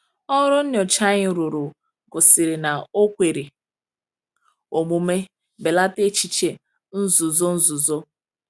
"Ọrụ nyocha anyị rụrụ gosiri na o kwere omume belata echiche nzuzo nzuzo."